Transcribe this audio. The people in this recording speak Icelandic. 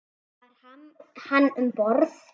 Var hann um borð?